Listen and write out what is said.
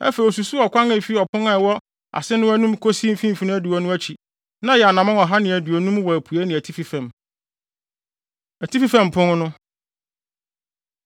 Afei osusuw ɔkwan a efi ɔpon a ɛwɔ ase no anim kosii mfimfini adiwo no akyi; na ɛyɛ anammɔn ɔha ne aduonum wɔ apuei ne atifi fam. Atifi Fam Pon No